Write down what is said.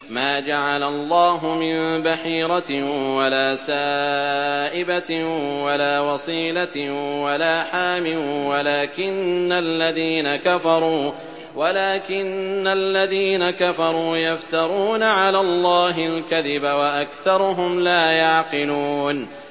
مَا جَعَلَ اللَّهُ مِن بَحِيرَةٍ وَلَا سَائِبَةٍ وَلَا وَصِيلَةٍ وَلَا حَامٍ ۙ وَلَٰكِنَّ الَّذِينَ كَفَرُوا يَفْتَرُونَ عَلَى اللَّهِ الْكَذِبَ ۖ وَأَكْثَرُهُمْ لَا يَعْقِلُونَ